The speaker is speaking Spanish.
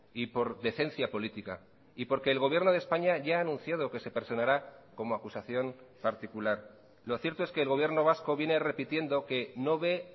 y por decencia política y porque el gobierno de españa ya ha anunciado que se personará como acusación particular lo cierto es que el gobierno vasco viene repitiendo que no ve